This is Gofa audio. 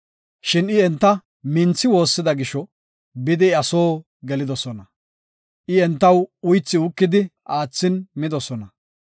Shin I enta minthi woossida gisho bidi iya soo gelidosona. I entaw uythi uukidi aathin midosona.